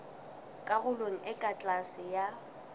karolong e ka tlase ya